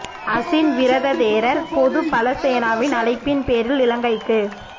அஷின் Wirathu தேரர் பொது பல சேனாவின் அழைப்பின் பேரில் இலங்கைக்கு